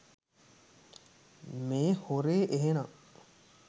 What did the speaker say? මේ හොරේ එහෙනම්.